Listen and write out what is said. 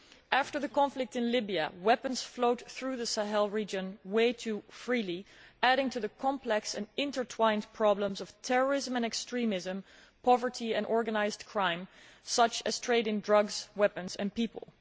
After the conflict in Libya, weapons flowed through the Sahel region way too freely, adding to the complex and intertwined problems of terrorism and extremism, poverty and organised crime, such as trading drugs, weapons and people.